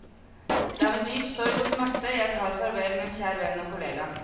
Det er med dyp sorg og smerte jeg tar farvel med en kjær venn og kollega.